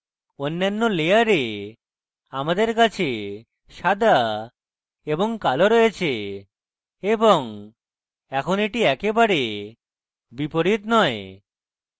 অন্যান্য layer আমাদের কাছে সাদা এবং কালো রয়েছে এবং এখন এটি একেবারে বিপরীত নয়